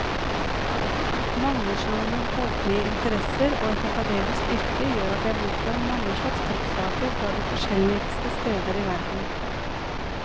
Mangslungne boklige interesser og et akademisk yrke gjør at jeg mottar mange slags trykksaker fra de forskjelligste steder i verden.